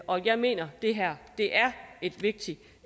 og jeg mener det her er et vigtigt